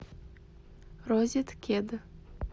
розеткед